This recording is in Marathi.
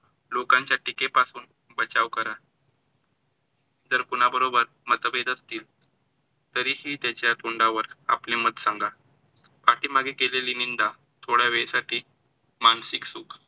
लोकांच्या टीके पासून बचाव करा. जर कोणाबरोबर मतभेद असतील तरी ही त्याच्या तोंडावर आपले मत सांगा. पाठी मागे केलेली निंदा थोड्यावेळसाठी मानसिक सुख